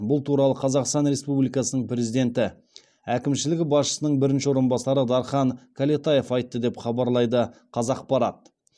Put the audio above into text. бұл туралы қазақстан республикасының президенті әкімшілігі басшысының бірінші орынбасары дархан кәлетаев айтты деп хабарлайды қазақпарат